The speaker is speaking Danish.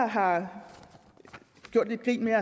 har gjort grin med